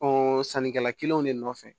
sannikɛla kelenw de nɔfɛ